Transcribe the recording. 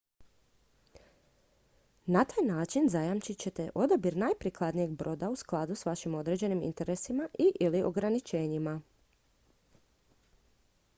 na taj način zajamčit ćete odabir najprikladnijeg broda u skladu s vašim određenim interesima i/ili ograničenjima